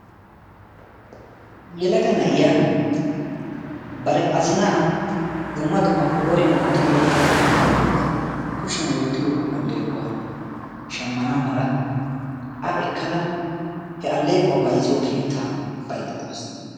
Yelaga na'iya bari azzina dumma dumma qooriya wottiyo alleqotanne kushiyan wottiyo alleeqota shammana mala a ekkada allequwaa bayzziyo keetta baydda dawus.